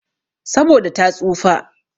Saboda ta tsufa.